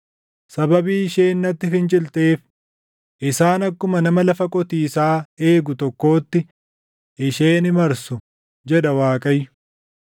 Sababii isheen natti fincilteef, isaan akkuma nama lafa qotiisaa eegu tokkootti // ishee ni marsu,’ ” jedha Waaqayyo.